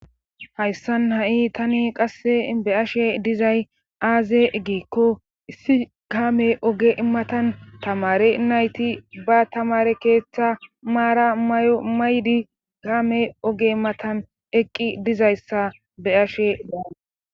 Hayssan ha'i tani qasse be ashe dizay aaze egiekko issi gaame oge imatan tamare nayti ba tamare keeththa maara mayomaydi gaame oge imatan eqqi dizayssa be ashe da.